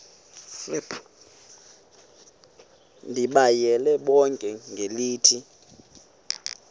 ndibayale bonke ngelithi